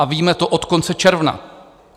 A víme to od konce června.